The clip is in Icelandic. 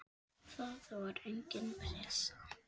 Það var engin pressa.